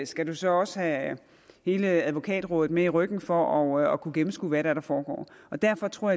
skal du så også have hele advokatrådet med i ryggen for at kunne gennemskue hvad det er der foregår derfor tror